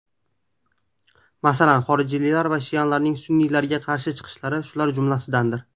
Masalan, xorijiylar va shialarning sunniylarga qarshi chiqishlari shular jumlasidandir.